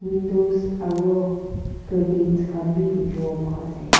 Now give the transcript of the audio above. window aru carten khan bhi dekhi bo pa ase.